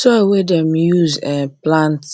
soil wey dem dey use um plant